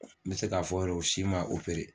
N bɛ se k'a fɔ yɛrɛ si ma